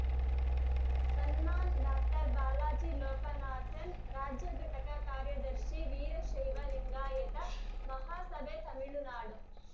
Samman doctor Balaji Lokanathan ರಾಜ್ಯ ಘಟಕ ಕಾರ್ಯದರ್ಶಿ ವೀರಶೈವ ಲಿಂಗಾಯತ ಮಹಾಸಭೆ ತಮಿಳುನಾಡು